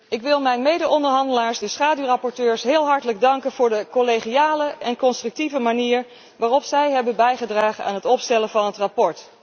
Ik wil mijn medeonderhandelaars, de schaduwrapporteurs, heel hartelijk danken voor de collegiale en constructieve manier waarop zij hebben bijgedragen aan het opstellen van het verslag.